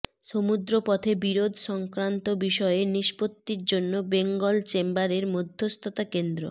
সমুদ্রপথে বিরোধ সংক্রান্ত বিষয়ে নিষ্পত্তির জন্য বেঙ্গল চেম্বারের মধ্যস্থতা কেন্দ্র